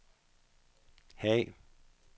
Haag